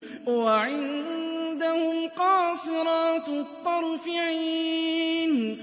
وَعِندَهُمْ قَاصِرَاتُ الطَّرْفِ عِينٌ